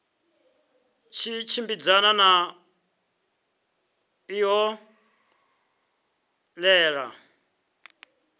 tshi tshimbidzana na ṱho ḓea